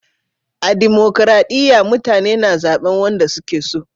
A dimokuradiyya mutane na zaben wanda su ke so